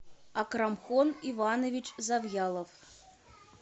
акрамхон иванович завьялов